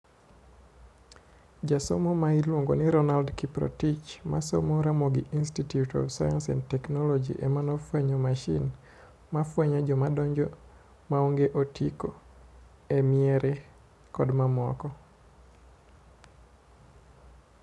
Jasomo ma iluongo Ronald Kiprotich ma somo Ramogi Institute of Science and Technology emane ofwenyo masin mafwenyo joma donjo maonge otiko e miere kod mamoko.